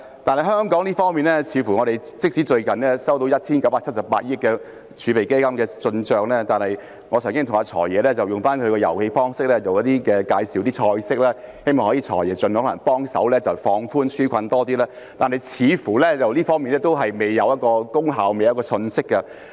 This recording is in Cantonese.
反觀香港，即使最近有 1,978 億元的外匯基金投資收益，但我曾經向"財爺"——用他的遊戲方式——介紹一些"菜式"，希望"財爺"可以盡量幫忙，進一步放寬紓困措施的門檻，這方面似乎還是未有成效和消息。